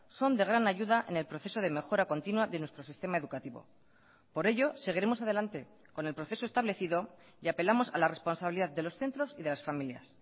son de gran ayuda en el proceso de mejora continua de nuestro sistema educativo por ello seguiremos adelante con el proceso establecido y apelamos a la responsabilidad de los centros y de las familias